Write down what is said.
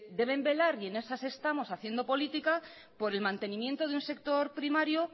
deben velar y en esas estamos haciendo políticas por el mantenimiento de un sector primario